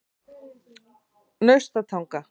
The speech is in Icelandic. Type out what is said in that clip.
Naustatanga